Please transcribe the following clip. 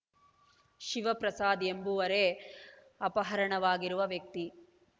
ಶಿವಪ್ರಸಾದ್ ಎಂಬುವರೆ ಅಪಹರಣವಾಗಿರುವ ವ್ಯಕ್ತಿ